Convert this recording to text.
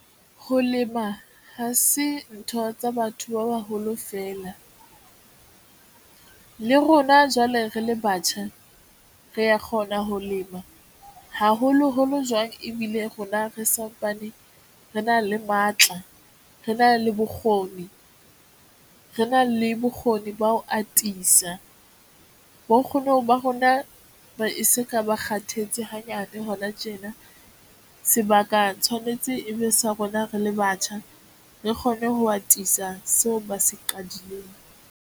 Ho lema ha se ntho tsa batho ba baholo feela le rona, jwale re le batjha, re ya kgona ho lema haholoholo jwang ebile rona re sa tsane, re na le matla, re na le bokgoni, re na le bokgoni ba ho atisa bo nkgono ba rona. Ba e se ka ba kgathetse hanyane hona tjena, sebaka tshwanetse e be sa rona re le batjha, re kgone ho atisa seo ba se qadileng.